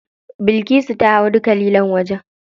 Bilkisu ta hau duka lilon wajen.